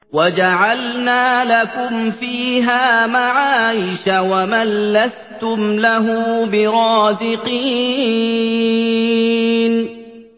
وَجَعَلْنَا لَكُمْ فِيهَا مَعَايِشَ وَمَن لَّسْتُمْ لَهُ بِرَازِقِينَ